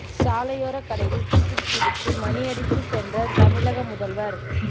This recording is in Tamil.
சாலையோர கடையில் டீ குடித்தவிட்டு மணி அடித்து சென்ற தமிழக முதல்வர்